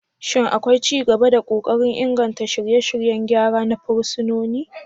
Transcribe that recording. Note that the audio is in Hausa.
Shin akwai ci gaba da kokarin inganta shirye-shiryen gyara na fursunoni?